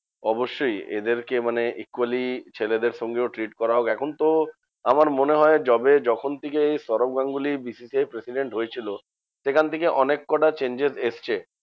অবশ্যই এদেরকে মানে equally ছেলেদের সঙ্গেও treat করা হোক। এখন তো আমার মনে হয় যবে যখন থেকে সৌরভ গাঙ্গুলী BCCI র president হয়েছিল, সেখান থেকে অনেক কটা changes এসেছে।